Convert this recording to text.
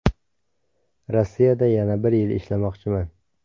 Rossiyada yana bir yil ishlamoqchiman.